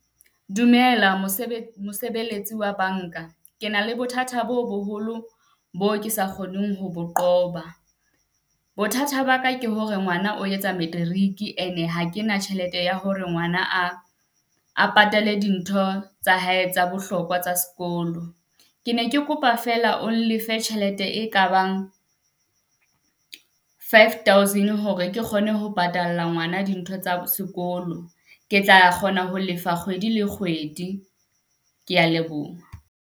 Dumela mosebetsi, mosebetsi wa banka. Ke na le bothata bo boholo bo ke sa kgoneng ho qoba. Bothata ba ka ke hore ngwana o etsa matric ene ha kena tjhelete ya hore ngwana a, a patale dintho tsa hae tsa bohlokwa tsa sekolo Ke ne ke kopa fela o nlefe tjhelete e ka bang five thousand hore ke kgone ho patalla ngwana dintho tsa sekolo. Ke tla kgona ho lefa kgwedi le kgwedi, ke ya leboha.